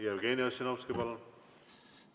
Jevgeni Ossinovski, palun!